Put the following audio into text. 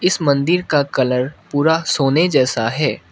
इस मन्दिर का कलर पूरा सोने जैसा है।